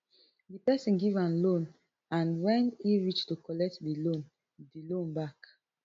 di pesin give am loan and wen e reach to collect di loan di loan back